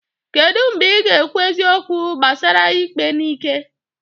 kedu mgbe ị ga-ekwu eziokwu gbasara ikpe n'ike?